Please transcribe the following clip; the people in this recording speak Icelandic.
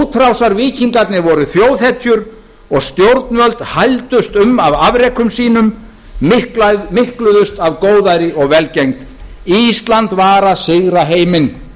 útrásarvíkingarnir voru þjóðhetjur og stjórnvöld hældust um af afrekum sínum mikluðust af góðæri og velgengni ísland var að sigra heiminn